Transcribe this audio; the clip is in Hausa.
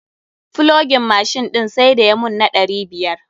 Flogin mashin ɗin sai da ya mun na ɗari biyar.